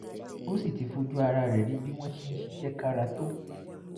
ó sì ti fojú ara rẹ̀ rí bí wọ́n ṣe ń ṣiṣẹ́ kára tó